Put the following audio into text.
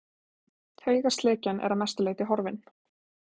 Taugaslekjan er að mestu leyti horfin.